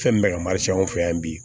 Fɛn min bɛ ka marifaw fɛ yan bi